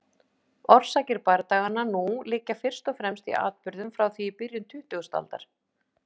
Orsakir bardaganna nú liggja fyrst og fremst í atburðum frá því í byrjun tuttugustu aldar.